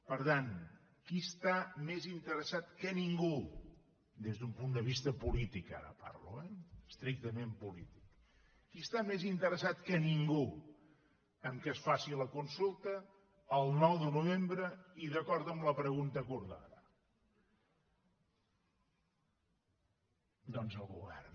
per tant qui està més interessat que ningú des d’un punt de vista polític ara parlo eh estrictament polític que es faci la consulta el nou de novembre i d’acord amb la pregunta acordada doncs el govern